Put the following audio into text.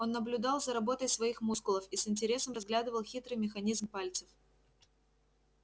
он наблюдал за работой своих мускулов и с интересом разглядывал хитрый механизм пальцев